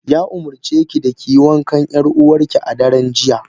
Ya umarce ki da kiyi wankan yar uwarki a daren jiya.